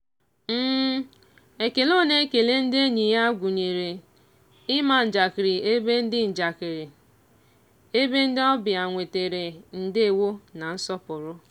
ekele ọ na-ekele ndị enyi ya gụnyere ịma njakịrị ebe ndị njakịrị ebe ndị obịa nwetere ndewo na nsọpụrụ.